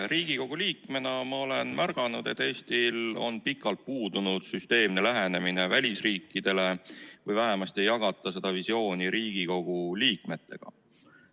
Riigikogu liikmena olen märganud, et Eestil on pikalt puudunud süsteemne lähenemine välisriikidele või vähemasti ei jagata seda visiooni Riigikogu liikmetega.